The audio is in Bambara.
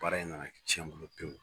Baara in nana tiɲɛ n bolo pewu